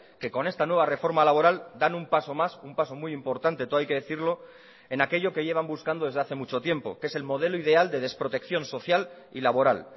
que con esta nueva reforma laboral dan un paso más un paso muy importante todo hay que decirlo en aquello que llevan buscando desde hace mucho tiempo que es el modelo ideal de desprotección social y laboral